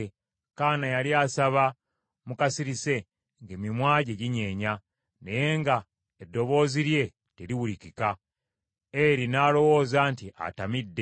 Kaana yali asaba mu kasirise, ng’emimwa gye ginyeenya, naye nga eddoboozi lye teriwulikika. Eri n’alowooza nti atamidde.